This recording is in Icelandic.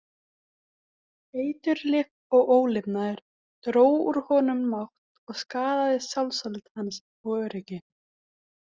Eiturlyf og ólifnaður dró úr honum mátt og skaðaði sjálfsálit hans og öryggi.